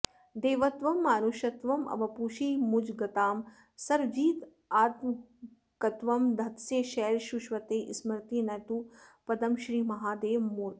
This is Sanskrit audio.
देवत्वं मानुषत्वं वपुषि मुजगतां सर्वजीवात्मकत्वं धत्से शैलूषवत्ते स्मरति न तु पदं श्रीमहादेवमूर्ते